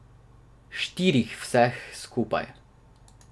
Štirih vseh skupaj.